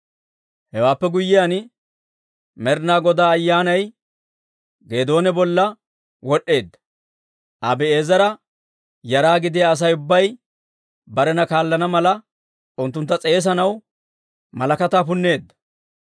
Hewaappe guyyiyaan, Med'inaa Godaa Ayyaanay Geedoona bolla wod'd'eedda; Abi'eezera yara gidiyaa Asay ubbay barena kaallana mala, unttuntta s'eesanaw malakataa punneedda.